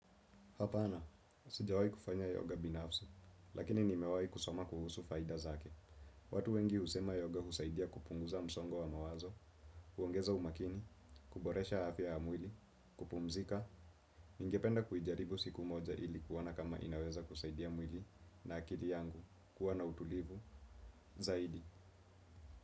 Hapana sijawahi kufanya yoga binafsi lakini nimewahi kusoma kuhusu faida zake. Watu wengi husema yoga husaidia kupunguza msongo wa mawazo, huongeza umakini, kuboresha afya ya mwili, kupumzika, ningependa kuijaribu siku moja ili kuona kama inaweza kusaidia mwili na akili yangu kuwa na utulivu zaidi.